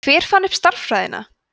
hver fann upp stærðfræðina